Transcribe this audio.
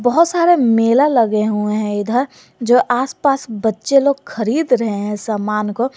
बहोत सारा मेला लगे हुए हैं इधर जो आस पास बच्चे लोग खरीद रहे हैं सामान को--